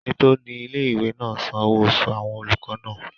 Ẹni tó ní ilé-ìwé náà san owó oṣù àwọn olùkọ́ náà